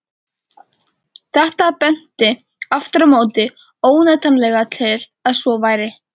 Þetta benti aftur á móti óneitanlega til að svo væri.